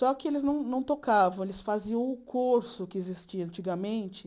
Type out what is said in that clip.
Só que eles não não tocavam, eles faziam o curso que existia antigamente.